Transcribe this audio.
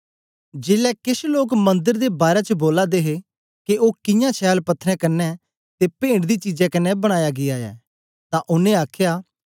जेलै केछ लोक मंदर दे बारै च बोला दे हे के ओ कियां छैल पत्थरें कन्ने ते पेंट दी चीजें कन्ने बनाया गीया ऐ तां ओनें आखया